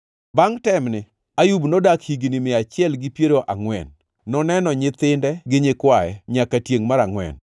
Bangʼ temni, Ayub nodak higni mia achiel gi piero angʼwen; noneno nyithinde gi nyikwaye nyaka tiengʼ mar angʼwen.